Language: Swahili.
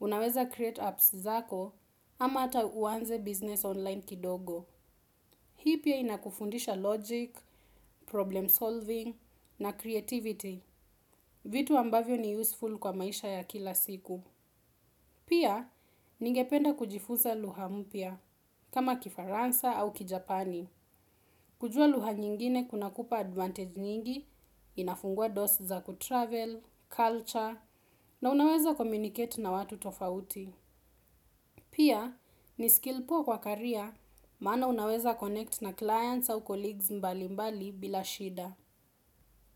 Unaweza create apps zako ama ata uanze business online kidogo. Hii pia inakufundisha logic, problem solving na creativity. Vitu ambavyo ni useful kwa maisha ya kila siku. Pia, ningependa kujifunza lugha mpya kama kifaransa au kijapani. Kujua lugha nyingine kuna kupa advantage nyingi, inafungua dosi za kutravel, culture, na unaweza communacate na watu tofauti. Pia, ni skill poa kwa career, maana unaweza connect na clients au colleagues mbali mbali bila shida.